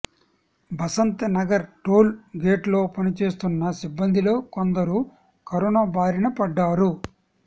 Basanta Nagar toll gate లో పనిచేస్తున్న సిబ్బందిలో కొందరు కరోనా బారిన పడ్డారు